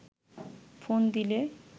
phone দিলে